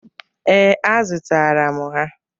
Ee, azụtara m ha.